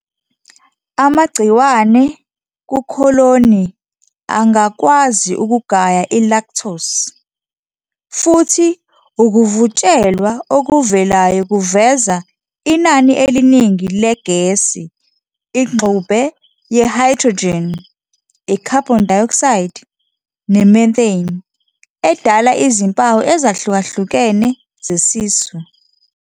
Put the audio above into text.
Amagciwane kukholoni angakwazi ukugaya i-lactose, futhi ukuvutshelwa okuvelayo kuveza inani eliningi legesi, ingxube ye-hydrogen, i-carbon dioxide, ne-methane, edala izimpawu ezahlukahlukene zesisu.